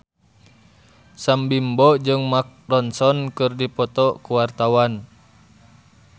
Sam Bimbo jeung Mark Ronson keur dipoto ku wartawan